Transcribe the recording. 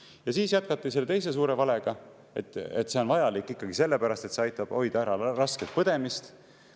Ja siis jätkati selle teise suure valega, et see on vajalik sellepärast, et see aitab hoida ära rasket põdemist.